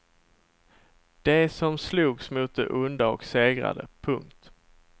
De som slogs mot det onda och segrade. punkt